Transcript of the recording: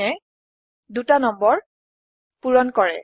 চাইনে ২টা নং পোৰণ কৰে